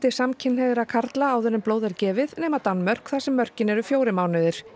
samkynhneigðra karla áður en blóð er gefið nema Danmörk þar sem mörkin eru fjórir mánuðir